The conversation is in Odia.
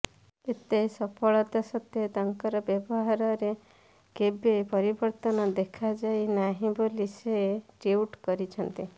ଏତେ ସଫଳତା ସତ୍ତ୍ୱେ ତାଙ୍କର ବ୍ୟବହାରରେ କେବେ ପରିବର୍ତ୍ତନ ଦେଖାଯାଇ ନାହିଁ ବୋଲି ସେ ଟ୍ୱିଟ୍ କରିଛନ୍ତି